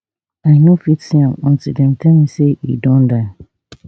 i no fit see am until dem tell me say e don die